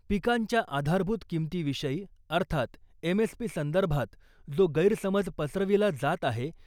पिकांच्या आधारभूत किमतीविषयी अर्थात एम.एस.पी. संदर्भात जो गैरसमज पसरविला जात आहे